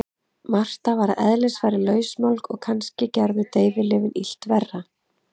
Marta var að eðlisfari lausmálg og kannski gerðu deyfilyfin illt verra.